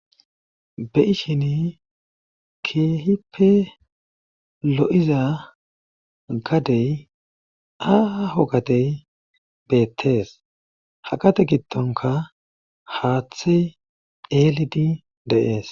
Be7ishini keehippe lo7iza gadey aho gatey beettees haqate giddonka haaththe eelidi deees.